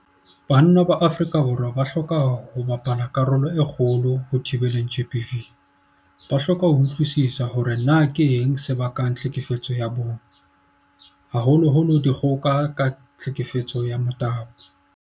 Banna ba Afrika Borwa ba hloka ho bapala karolo e kgolo ho thibeleng GBV. Ba hloka ho utlwisisa hore na keng se bakang tlhekefetso ya bong, haholoholo dikgoka ka tlhekefetso ya motabo.